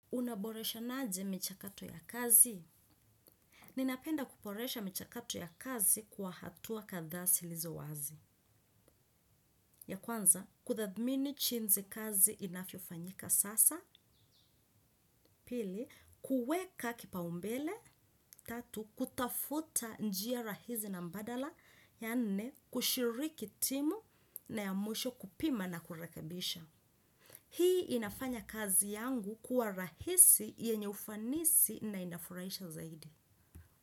Unaboreshana aje michakato ya kazi? Ninapenda kuboresha michakato ya kazi kwa hatua kadhaa zilizo wazi. Ya kwanza, kutathmini jinsi kazi inavyofanyika sasa, pili, kuweka kipaumbele, tatu, kutafuta njia rahisi na mbadala, ya nne, kushiriki timu na ya mwisho kupima na kurekabisha. Hii inafanya kazi yangu kuwa rahisi yenye ufanisi na inafurahisha zaidi.